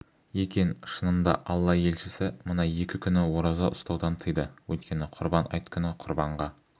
екен шынында алла елшісі мына екі күні ораза ұстаудан тыйды өйткені құрбан айт күні құрбанға